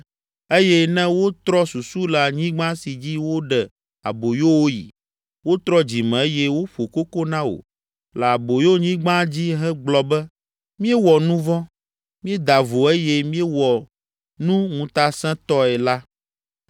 eye ne wotrɔ susu le anyigba si dzi woɖe aboyo wo yi, wotrɔ dzime eye woƒo koko na wò le aboyonyigba dzi hegblɔ be, ‘Míewɔ nu vɔ̃, míeda vo eye míewɔ nu ŋutasẽtɔe’ la,